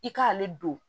I k'ale don